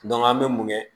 an bɛ mun kɛ